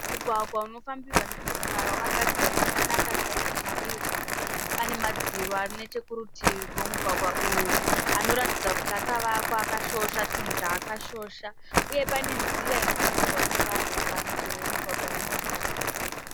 Mugwagwa unofambirwa nemotokari wakagadzirwa zvakanaka chaizvo chaizvo. Pane madziro ari nechekurutivi kwemugwagwa uyu anoratidza kuti akavakwa akashosha chinhu chaakashosha uye pane nzira inofambirwa nevanhu parutivi rwemugwagwa wemotokari uyu.